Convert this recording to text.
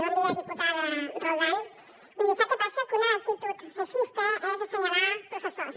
bon dia diputada roldán miri sap què passa que una actitud feixista és assenyalar professors